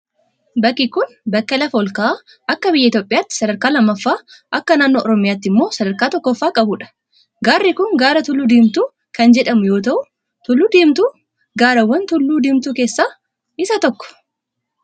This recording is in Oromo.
Bakki kun, bakka lafa ol ka'a akka biyya Itoophiyaatti sadarkaa lammaffaa akka naannoo Oromiyaatti immoo sadarkaa tokkffaa qabuudha. Gaarri kun, gaara Tulluu Diimtuu kan jedhamu yoo ta'u, tulluun diimtuu gaarawwan tulluu diimtuu keessaa isa tokko.